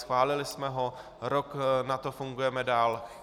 Schválili jsme ho, rok na to fungujeme dál.